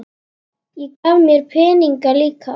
Og gaf mér peninga líka.